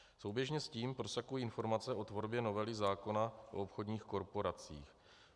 Souběžně s tím prosakují informace o tvorbě novely zákona o obchodních korporacích.